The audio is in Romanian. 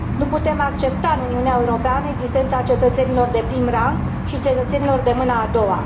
nu putem accepta în Uniunea Europeană existența cetățenilor de prim rang și cetățenilor de mâna a doua.